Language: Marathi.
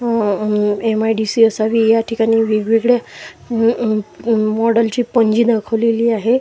अह अम एम_आय_डी_सी असावी या ठिकाणी वेगवेगळ्या अह अम अम मॉडेलची पंजी दाखवलेली आहे.